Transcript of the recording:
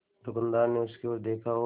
दुकानदार ने उसकी ओर देखा और